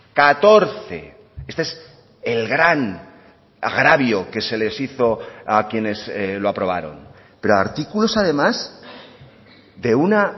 catorce este es el gran agravio que se les hizo a quienes lo aprobaron pero artículos además de una